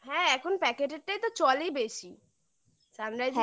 হ্যাঁ এখন packet টাই তো চলেই বেশি sunrise